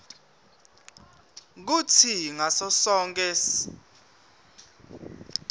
kutsi ngaso sonkhe